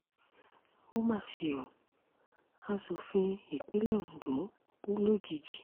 ó mà ṣe ó asòfin ìpínlẹ̀ ondo kú lójijì